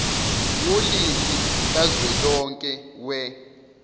wolimi kazwelonke we